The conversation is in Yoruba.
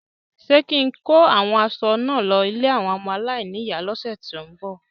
Ṣé kín-in kó àwọn aṣọ náà lọ ilé àwọn ọmọ aláìníyàá lọ́sẹ ti n bọ?